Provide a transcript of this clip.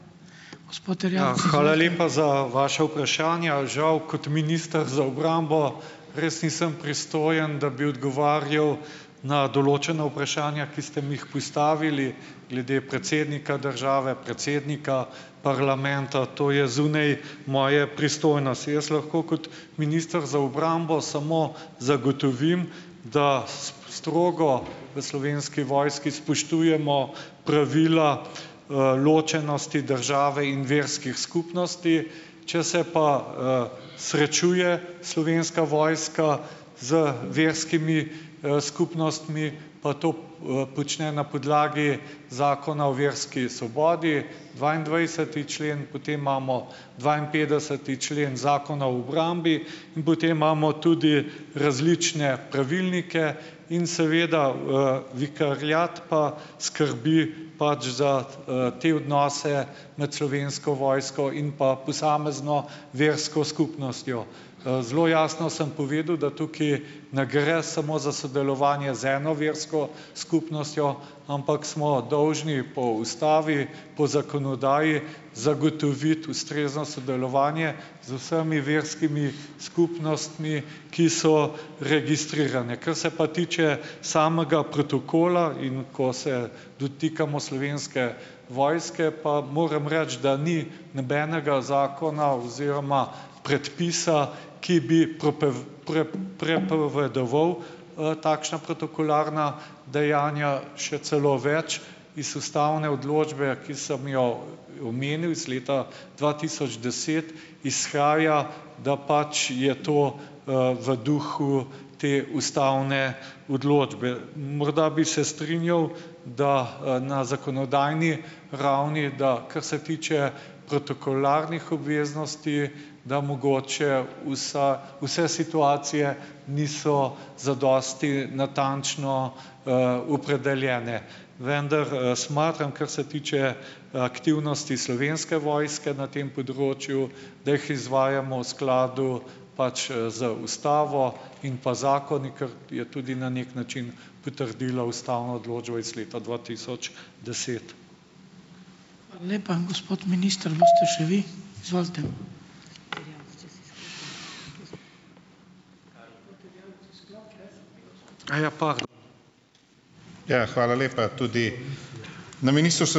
Hvala lepa za vaša vprašanja. Žal kot minister za obrambo res nisem pristojen, da bi odgovarjal na določena vprašanja, ki ste mi jih postavili glede predsednika države, predsednika parlamenta. To je zunaj moje pristojnosti. Jaz lahko kot minister za obrambo samo zagotovim, da s strogo v Slovenski vojski spoštujemo pravila, ločenosti države in verskih skupnosti. Če se pa, srečuje Slovenska vojska z verskimi, skupnostmi, pa to, počne na podlagi Zakona o verski svobodi, dvaindvajseti člen, potem imamo dvainpetdeseti člen Zakona o obrambi in potem imamo tudi različne pravilnike in seveda, vikariat pa skrbi pač za, te odnose med Slovensko vojsko in pa posamezno versko skupnostjo. Zelo jasno sem povedal, da tukaj ne gre samo za sodelovanje z eno versko skupnostjo, ampak smo dolžni po ustavi, po zakonodaji zagotoviti ustrezno sodelovanje z vsemi verskimi skupnostmi, ki so registrirane. Kar se pa tiče samega protokola in ko se dotikamo Slovenske vojske, pa moram reči, da ni nobenega zakona oziroma predpisa, ki bi prepovedoval, takšna protokolarna dejanja, še celo več. Iz ustavne odločbe, ki sem jo omenil, iz leta dva tisoč deset izhaja, da pač je to, v duhu te ustavne odločbe. Morda bi se strinjal, da, na zakonodajni ravni, da kar se tiče protokolarnih obveznosti, da mogoče vsa vse situacije niso zadosti natančno, opredeljene. Vendar, smatram, kar se tiče aktivnosti Slovenske vojske na tem področju, da jih izvajamo v skladu pač, z ustavo in pa zakoni, kar je tudi na neki način potrdila ustavna odločba iz leta dva tisoč deset.